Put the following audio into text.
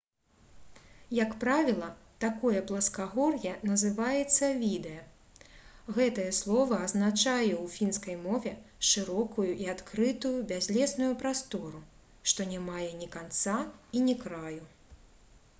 як правіла такое пласкагор'е называецца «відэ». гэтае слова азначае ў фінскай мове шырокую і адкрытую бязлесную прастору што не мае ні канца і ні краю